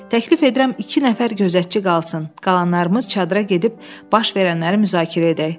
Təklif edirəm iki nəfər gözətçi qalsın, qalanlarımız çadıra gedib baş verənləri müzakirə edək.”